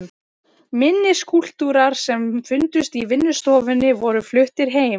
Minni skúlptúrar sem fundust í vinnustofunni voru fluttir heim.